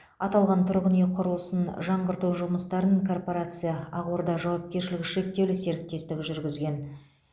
аталған тұрғын үй құрылысын жаңғырту жұмыстарын корпорация ақорда жауапкершілігі шектеулі серіктестігі жүргізген